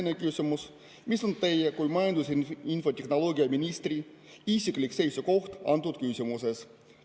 Teine küsimus: mis on teie kui majandus‑ ja infotehnoloogiaministri isiklik seisukoht antud küsimuses?